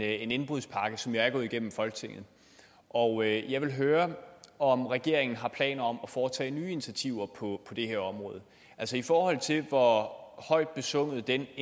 en indbrudspakke som er gået igennem i folketinget og jeg vil høre om regeringen har planer om at foretage nye initiativer på det her område altså i forhold til hvor højt besunget den